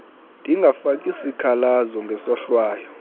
ndingafaki sikhalazo ngesohlwayo